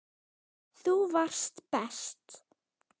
Þú varst best.